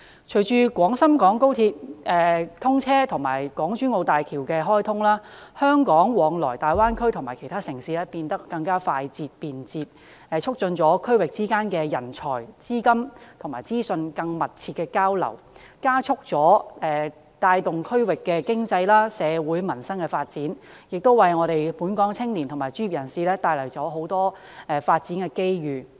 隨着廣深港高鐵通車及港珠澳大橋開通，香港往來大灣區其他城市變得更為快捷方便，促進區域之間在人才、資金及資訊更密切的交流，加速帶動區域經濟、社會及民生發展，亦為本港青年及專業人士帶來更多發展機遇。